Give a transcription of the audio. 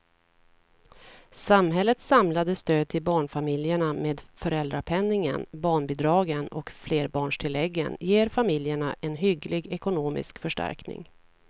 Samhällets samlade stöd till barnfamiljerna med föräldrapenningen, barnbidragen och flerbarnstilläggen ger familjerna en hygglig ekonomisk förstärkning.